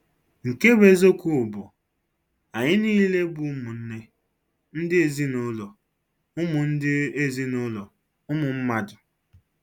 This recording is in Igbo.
Nke bụ eziokwu bụ, Anyị niile bụ ụmụnne, ndị ezinụlọ ụmụ ndị ezinụlọ ụmụ mmadụ.